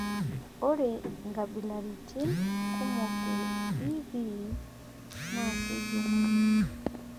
ore inkabilaritin kumok e EB naa kejung'uni